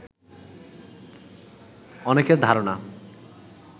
অনেকের ধারণা